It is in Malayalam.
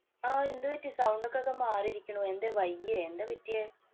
ആഹ് എന്ത് പറ്റി? sound ഒക്കെ ആകെ മാറിയിരിക്കണു. എന്തേ? വയ്യേ? എന്താ പറ്റിയേ?